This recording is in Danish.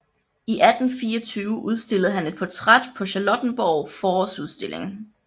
I 1824 udstillede han et portræt på Charlottenborg Forårsudstilling